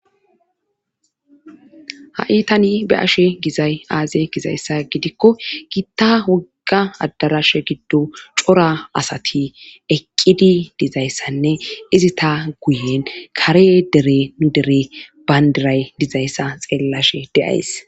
Ha7i tani be'ashe gizay aaze gizayssa gidikko giitta wogga addarashe giddo cora asati eqqidi dizayssanne izi ta guyen kare dere nu dere bayndiray dizayssa xeellashe de'ays.